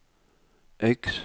X